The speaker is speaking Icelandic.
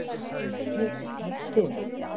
Ég fékk mér te.